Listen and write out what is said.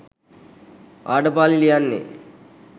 ආඩපාලි ලියන්නේ?